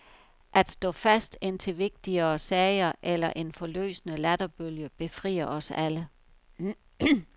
At stå fast, indtil vigtigere sager eller en forløsende latterbølge befrier os alle.